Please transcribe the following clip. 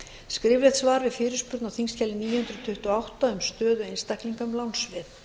skriflegt svar við fyrirspurn á þingskjali níu hundruð tuttugu og átta um stöðu einstaklinga með lánsveð